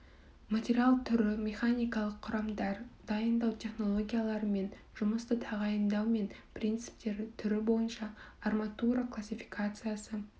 материал түрі механикалық құрамдар дайындау технологиялары мен жұмысты тағайындау мен принциптері түрі бойынша арматура классификациясы